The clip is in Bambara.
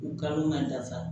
U kan ka nafa